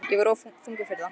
Ég var of þungur fyrir það.